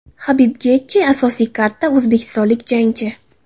Habib Getji, asosiy kardda o‘zbekistonlik jangchi.